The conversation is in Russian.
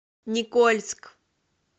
никольск